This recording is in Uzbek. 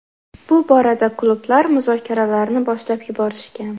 Bu borada klublar muzokaralarni boshlab yuborishgan.